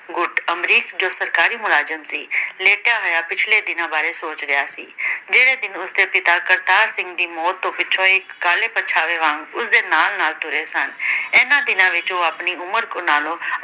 ਅਮਰੀਕ ਜੋ ਸਰਕਾਰੀ ਮੁਲਾਜ਼ਮ ਸੀ ਲੇਟਿਆ ਹੋਇਆ, ਪਿਛਲੇ ਦਿਨਾਂ ਬਾਰੇ ਸੋਚ ਰਿਹਾ ਸੀ। ਜਿਹੜੇ ਦਿਨ ਉਸ ਦੇ ਪਿਤਾ ਕਰਤਾਰ ਸਿੰਘ ਦੀ ਮੌਤ ਦੀ ਪਿੱਛੋਂ ਇਕ ਕਾਲੇ ਪਰਛਾਵੇ ਵਾਂਗ ਉਸ ਦੇ ਨਾਲ ਨਾਲ ਟੁਰੇ ਸਨ। ਇਹਨਾਂ ਦਿਨਾਂ ਵਿੱਚ ਉਹ ਆਪਣੀ ਉਮਰ ਨਾਲੋਂ